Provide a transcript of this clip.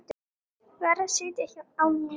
Varð að sitja á mér.